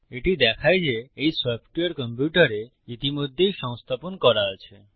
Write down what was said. এটি দেখায় যে এই সফ্টওয়্যার কম্পিউটারে ইতিমধ্যেই সংস্থাপন করা আছে